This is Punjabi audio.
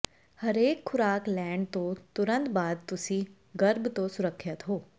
ਹਰੇਕ ਖ਼ੁਰਾਕ ਲੈਣ ਤੋਂ ਤੁਰੰਤ ਬਾਅਦ ਤੁਸੀਂ ਗਰਭ ਤੋਂ ਸੁਰੱਖਿਅਤ ਹੋ